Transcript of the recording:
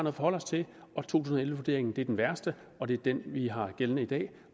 at forholde os til to tusind og elleve vurderingen er den værste og det er den vi har gældende i dag